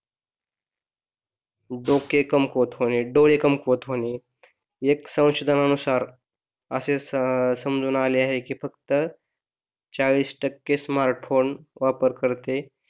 डोके कमकुवत होणे, डोळे कमकुवत होणे एक संशोधनानुसार असे समजून आले आहे की फक्त चाळीस टक्के स्मार्टफोन वापरकर्ते